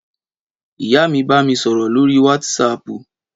Ìyá mi bá mi sọ̀rọ̀ lóríi wátísapù